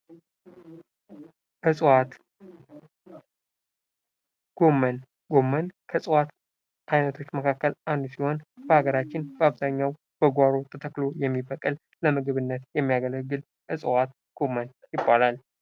እፅዋት ጎመን ጎመን ከእፅዋት አይነቶች መካከል አንዱ ሲሆን በሀገራችን በአብዛኛው በጕሮ ተተክሎ የሚበቅል ለምግብነት የሚያገግል እፅዋት ጎመን ይባላል::